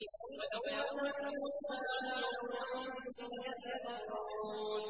وَيَوْمَ تَقُومُ السَّاعَةُ يَوْمَئِذٍ يَتَفَرَّقُونَ